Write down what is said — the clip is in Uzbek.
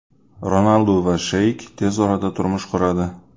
Ronaldu va Sheyk tez orada turmush quradi.